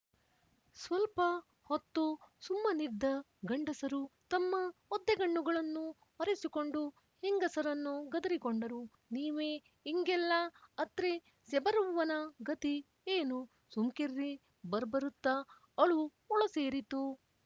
ಸ್ವಲ್ಪ ಹೊತ್ತು ಸುಮ್ಮನಿದ್ದ ಗಂಡಸರು ತಮ್ಮ ಒದ್ದೆಗಣ್ಣುಗಳನ್ನು ಒರೆಸಿಕೊಂಡು ಹೆಂಗಸರನ್ನು ಗದರಿಕೊಂಡರು ನೀವೇ ಇಂಗೆಲ್ಲ ಅತ್ರೆ ಸ್ಯಬರವ್ವನ ಗತಿ ಏನು ಸುಮ್ಕಿರ್ರಿ ಬರಬರುತ್ತ ಅಳು ಒಳಸೇರಿತು